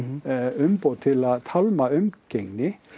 umboð til að tálma umgengni